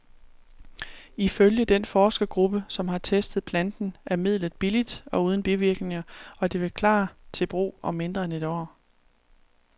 Ifølge den forskergruppe, som har testet planten, er midlet billigt og uden bivirkninger, og det vil klar til brug om mindre end et år.